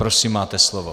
Prosím, máte slovo.